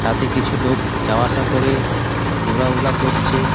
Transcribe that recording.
তাতে কিছু লোক যাওয়া আসা করে গোড়াউড়া করছে ।